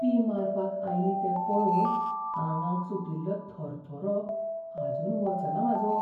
ती मारपाक आयली तें पळोवन आंगाक सुटिल्लो थरथरो आजून वचना म्हाजो.